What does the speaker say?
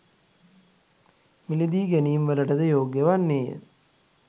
මිලදී ගැනීම්වලටද යෝග්‍ය වන්නේය.